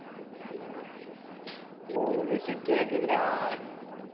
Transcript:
டேய் miss கேக்குதுடா